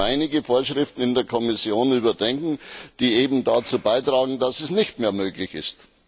Dazu müssen wir einige Vorschriften in der Kommission überdenken, die dazu beitragen, dass dies nicht mehr möglich ist.